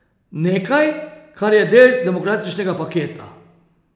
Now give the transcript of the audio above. Nekaj, kar je del demokratičnega paketa.